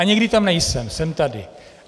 A někdy tam nejsem, jsem tady.